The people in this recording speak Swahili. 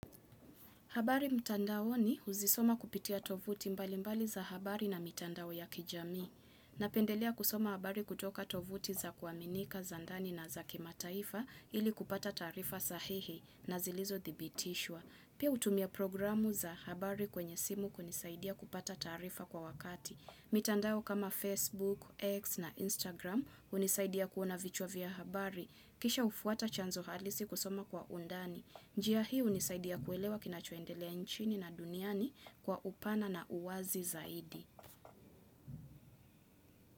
Habari mtandaoni huzisoma kupitia tovuti mbali mbali za habari na mitandao ya kijami. Napendelea kusoma habari kutoka tovuti za kuaminika za ndani na za kimataifa ili kupata taarifa sahihi na zilizothibitishwa. Pia hutumia programu za habari kwenye simu kunisaidia kupata taarifa kwa wakati. Mitandao kama Facebook, X na Instagram hunisaidia kuona vichwa vya habari. Kisha ufuata chanzo halisi kusoma kwa undani. Njia hii hunisaidia kuelewa kinachoendelea nchini na duniani kwa upana na uwazi zaidi.